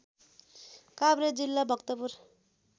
काभ्रे जिल्ला भक्तपुर